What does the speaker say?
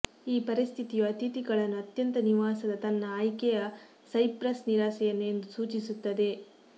ಈ ಪರಿಸ್ಥಿತಿಯು ಅತಿಥಿಗಳನ್ನು ಅತ್ಯಂತ ನಿವಾಸದ ತನ್ನ ಆಯ್ಕೆಯ ಸೈಪ್ರಸ್ ನಿರಾಸೆಯನ್ನು ಎಂದು ಸೂಚಿಸುತ್ತದೆ